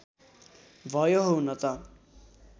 भयो हुन त